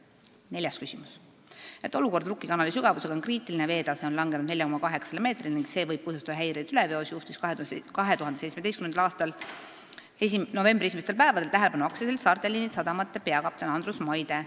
Neljas küsimus: "Et olukord Rukki kanali sügavusega on kriitiline ja veetase on langenud 4,8 m ning see võib põhjustada häireid üleveos, juhtis 2017 novembri esimestel päevadel tähelepanu ka AS Saarte Liinid sadamate peakapten Andrus Maide.